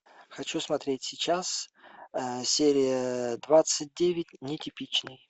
хочу смотреть сейчас серия двадцать девять нетипичный